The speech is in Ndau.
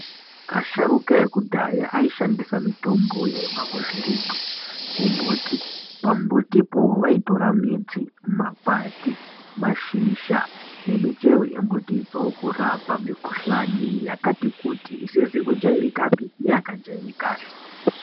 Asharuka ekudhaya aishandisa mitombo yaibva kuzvirimwa kumbuti pambuti po vaitora midz makwati mashizha nemichero yemumbuti dzo kurapa mukhuhlani yakati kuti isizi kujairikapi neyaka jairika.